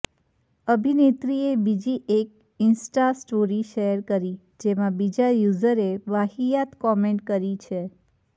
અભિનેત્રીએ બીજી એક Insta story share કરી જેમાં બીજા યુઝરે વાહિયાત કોમેન્ટ કરી છે